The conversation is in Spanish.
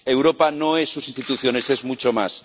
Europa no es sus instituciones, es mucho más.